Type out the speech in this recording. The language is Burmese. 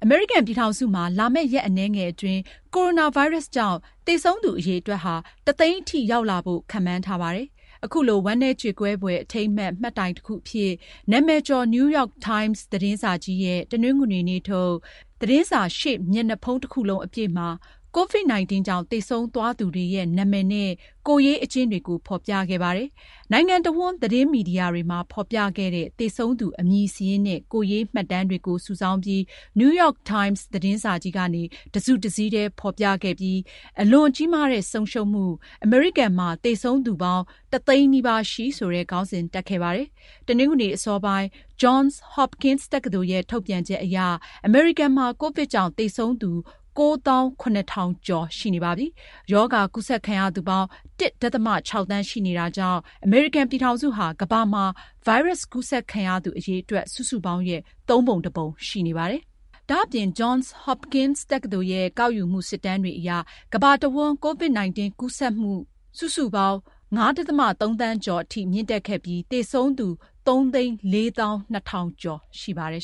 မေရိကန်ပြည်ထောင်စုမှာ လာမယ့်ရက်အနည်းငယ်အတွင်း ကိုရိုနာဗိုင်းရပ်စ်ကြောင့် သေဆုံးသူ အရေအတွက်ဟာ ၁၀၀,၀၀၀ အထိ ရောက်လာဖို့ ခန့်မှန်းထားပါတယ်။ အခုလို ဝမ်းနည်းကြေကွဲဖွယ် အထိမ်းအမှတ် မှတ်တိုင်တခုအဖြစ် နာမည်ကျော် New York Times ရဲ့ တနင်္ဂနွေနေ့ထုတ် သတင်းစာ ရှေ့မျက်နှာဖုံး တခုလုံးအပြည့် COVID-19 ကြောင့် သေဆုံးသွားသူတွေရဲ့ နာမည်နဲ့ ကိုယ်ရေးအကျဉ်းတွေကို ဖော်ပြခဲ့ပါတယ်။ နိုင်ငံတဝန်း သတင်းမီဒီယာတွေမှာ ဖော်ပြခဲ့တဲ့ သေဆုံးသူ အမည်စာရင်းနဲ့ ကိုယ်ရေးမှတ်တမ်းတွေကို စုဆောင်းပြီး New York Times သတင်းစာကြီးကနေ တစုတစည်းတည်း ဖော်ပြခဲ့ပြီး "အလွန်ကြီးမားတဲ့ ဆုံးရှုံးမှု၊ အမေရိကန်မှာ သေဆုံးသူပေါင်း ၁၀၀,၀၀၀ နီးပါးရှိ" ဆိုတဲ့ သတင်းခေါင်းစဉ် တပ်ခဲ့ပါတယ်။ တနင်္ဂနွေနေ့အစောပိုင်း Johns Hopkins တက္ကသိုလ်ရဲ့ ထုတ်ပြန်ချက်အရ အမေရိကန်မှာ ကိုဗစ်ကြောင့် သေဆုံးသူ ၉၇,၀၀၀ ကျော် ရှိနေပါပြီ။ ရောဂါကူးစက်ခံရသူပေါင်း ၁.၆ သန်း ရှိနေတာကြောင့် အမေရိကန်ပြည်ထောင်စုဟာ ကမ္ဘာမှာ ဗိုင်းရပ်စ်ကူးစက်ခံရသူ အရေအတွက် စုစုပေါင်းရဲ့ သုံးပုံတပုံ ရှိနေပါတယ်။ ဒါ့အပြင် Johns Hopkins တက္ကသိုလ်ရဲ့ ကောက်ယူမှု စစ်တမ်းတွေအရ ကမ္ဘာတဝန်း COVID-19 ကူးစက်မှု စုစုပေါင်း ၅.၃ သန်းကျော်အထိ မြင့်တက်ခဲ့ပြီး သေဆုံးသူ ၃၄၂,၀၀၀ ကျော် ရှိပါတယ်